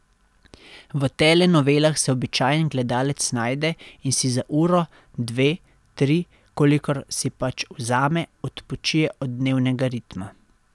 V telenovelah se običajen gledalec najde in si za uro, dve, tri, kolikor si pač vzame, odpočije od dnevnega ritma.